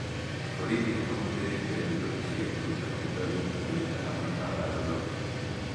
Borithi nĩmahũthĩrĩte nduthũki cia kũruta maithori na kũnyita amwe a arũrũnganĩ